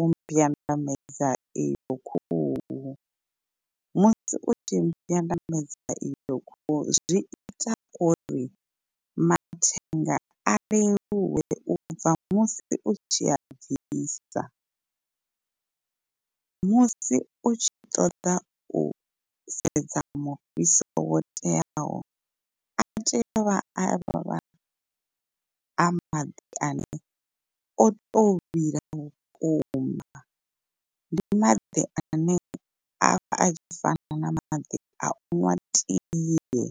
u mbyandamedza iyo khuhu, musi u tshi i mbyandamedza iyo khuhu zwi ita uri mathenga a leluwe u bva musi u tshi a bvisa musi u tshi ṱoḓa u sedza mufhiso wo teaho a tea u vha avha a maḓi ane oto vhila vhukuma ndi maḓi ane avha a tshi fana na maḓi a uṅwa tie.